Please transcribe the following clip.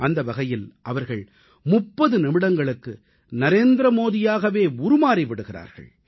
அந்த வகையில் அவர்கள் 30 நிமிடங்களுக்கு நரேந்திர மோடியாகவே உருமாறி விடுகிறார்கள்